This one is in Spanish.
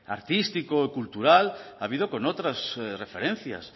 artístico y cultural ha habido con otras referencias